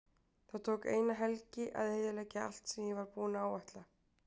Það tók eina helgi að eyðileggja allt sem ég var búinn að áætla.